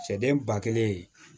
Sɛden ba kelen